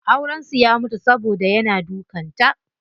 Auren su ya mutu saboda yana dukan ta.